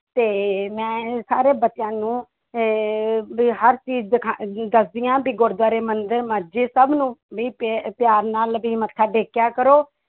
ਤੇ ਮੈਂ ਸਾਰੇ ਬੱਚਿਆਂ ਨੂੰ ਅਹ ਵੀ ਹਰ ਚੀਜ਼ ਦਿਖਾ~ ਦੱਸਦੀ ਹਾਂ ਵੀ ਗੁਰਦੁਆਰੇ, ਮੰਦਿਰ, ਮਸਜਿਦ ਸਭ ਨੂੰ ਵੀ ਪ~ ਪਿਆਰ ਨਾਲ ਵੀ ਮੱਥਾ ਟੇਕਿਆ ਕਰੋ।